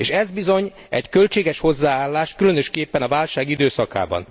És ez bizony egy költséges hozzáállás, különösképpen a válság időszakában.